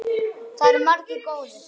Það eru margir góðir.